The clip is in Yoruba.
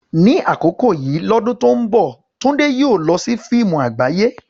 Ní àkókò yìí lọ́dún tó ń bọ̀, Tunde yóò lọ sí fíìmù àgbáyé.